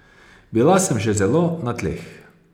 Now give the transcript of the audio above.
Bila sem že zelo na tleh.